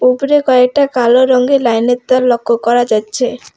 উপরে কয়েকটা কালো রঙের লাইনের তার লক্ষ্য করা যাচ্ছে।